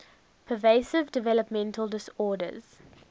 pervasive developmental disorders